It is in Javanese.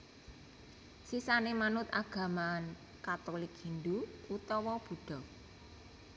Sisané manut agama Katulik Hindhu utawa Buddha